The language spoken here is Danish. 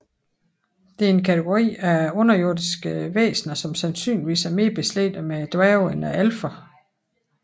Det er en kategori af underjordiske væsener som sandsynligvis er mere beslægtet med dværgene end alferne